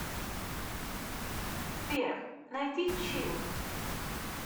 сбер найди чилл